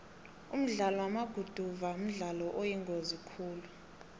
umdlalo wamaguduva mdlalo oyingozi khulu